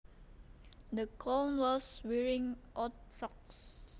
The clown was wearing odd socks